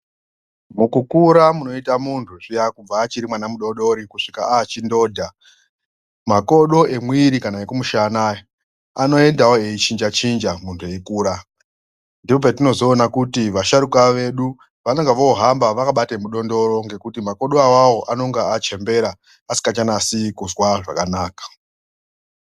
Mukukura kunoita muntu zviyani achiri mwana mudodori kusvika achindodha makodo emwiri kana ekumushana anoendawo eichinja chinja muntu eikura ndopatinozoona kuti vasharukwa vedu vanenge vakuhamba vakabata mudondoro ngekuti makodo awawo anenge achembera asingachanzwi zvakanaka.